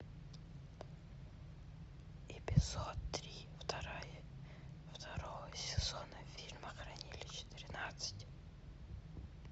эпизод три второго сезона фильма хранилище тринадцать